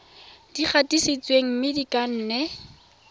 di gatisitsweng mme di kannwe